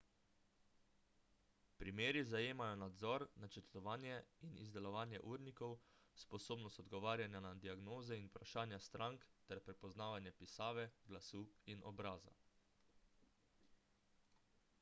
primeri zajemajo nadzor načrtovanje in izdelavo urnikov sposobnost odgovarjanja na diagnoze in vprašanja strank ter prepoznavanje pisave glasu in obraza